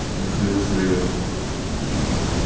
михаил серьёзно